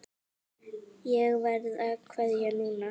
Ég verð að kveðja núna.